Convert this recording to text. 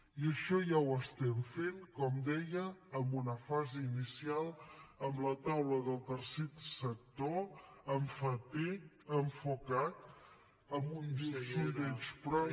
i això ja ho estem fent com deia en una fase inicial amb la taula del tercer sector enfocat amb un sondeig previ